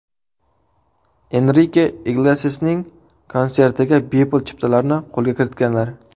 Enrike Iglesiasning konsertiga bepul chiptalarni qo‘lga kiritganlar.